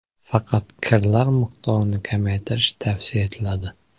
Faqat kirlar miqdorini kamaytirish tavsiya etiladi.